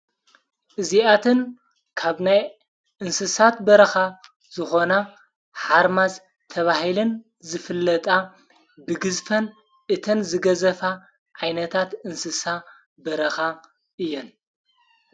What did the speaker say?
እዚኣትን ካብ ናይ እንስሳት በረኻ ዝኾና ሓርማዝ ተብሂልን ዝፍለጣ ብግዝፈን እተን ዝገዘፋ ኣይነታት እንስሳ በረኻ እየን።